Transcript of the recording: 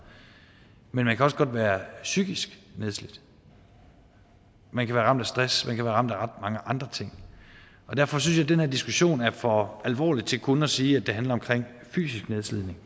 men man kan også godt være psykisk nedslidt man kan være ramt af stress man kan være ramt af ret mange andre ting derfor synes jeg at den her diskussion er for alvorlig til kun at sige at det handler om fysisk nedslidning